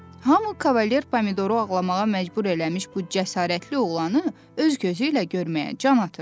Hamı Kavaler Pomidoru ağlamağa məcbur eləmiş bu cəsarətli oğlanı öz gözü ilə görməyə can atırdı.